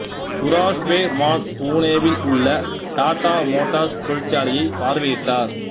Tura Shwe Mann புனேவில் உள்ள Tata Motors தொழிற்சாலையைப் பார்வையிட்டார்